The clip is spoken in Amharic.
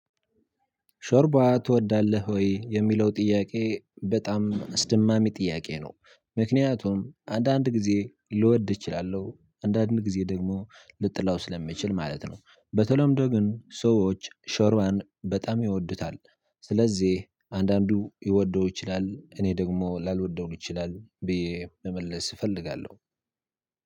ሾርባ ትወዳለህ ወይ የሚለው ጥያቄ በጣም አስደማሚ ጥያቄ ነው? ምክንያቱም አንዳንድ ጊዜ ልወድ እችላለሁ አንዳንድ ጊዜ ደግሞ ልጠላው ስለምችል ማለት ነው። በተለምዶ ግን ሰዎች ሾርባን በጣም ይወዱታል። ስለዚህ አንዳንዱ ሊወደው ይችላል እኔ ደግሞ ላልወደውም እችላለሁ ብዬ መመለስ እፈልጋለሁ።